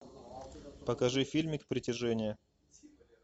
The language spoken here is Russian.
покажи фильмик притяжение